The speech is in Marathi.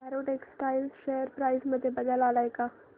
अॅरो टेक्सटाइल्स शेअर प्राइस मध्ये बदल आलाय का